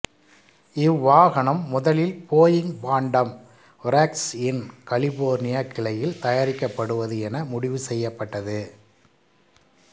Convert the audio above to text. இவ்வாகனம் முதலில் Boeing Phantom வொர்க்ஸ்இன் California கிளையில் தயாரிக்கபடுவது என முடிவு செய்யப்பட்டது